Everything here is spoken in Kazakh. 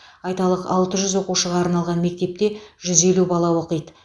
айталық алты жүз оқушыға арналған мектепте жүз елу бала оқиды